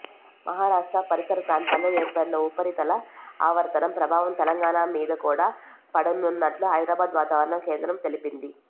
మహారాష్ట్ర పరిసర ప్రాంతాల్లో ఏర్పడిన ఉపరితల ఆవర్తనం ప్రభావం తెలంగాణా మీద కూడా పడనున్నట్టు హైదరాబాద్ వాతావరణ కేంద్రం తెలిపింది